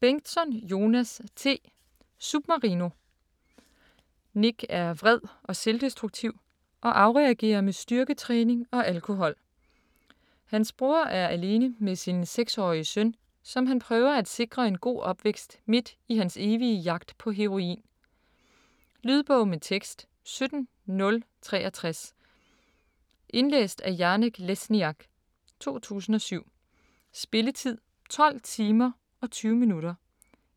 Bengtsson, Jonas T.: Submarino Nick er vred og selvdestruktiv og afreagerer med styrketræning og alkohol. Hans bror er alene med sin 6-årige søn, som han prøver at sikre en god opvækst midt i hans evige jagt på heroin. Lydbog med tekst 17063 Indlæst af Janek Lesniak, 2007. Spilletid: 12 timer, 20 minutter.